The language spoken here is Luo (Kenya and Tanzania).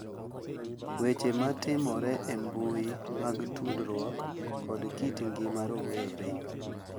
Weche matimore e mbui mag tudruok kod kit ngima rowere